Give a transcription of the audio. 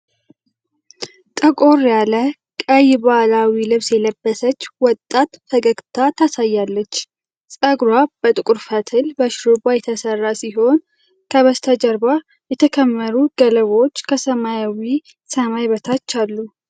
ጠቆር ያለ ቀይ ባህላዊ ልብስ የለበሰች ወጣት ፈገግታ ታሳያለች። ጸጉሯ በጥቁር ፈትል በሽሩባ የተሰራ ሲሆን፣ ከበስተጀርባ የተከመሩ ገለባዎች ከሰማያዊ ሰማይ በታች አሉ።